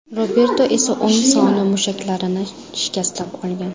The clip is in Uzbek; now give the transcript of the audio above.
Roberto esa o‘ng soni mushaklarini shikastlab olgan.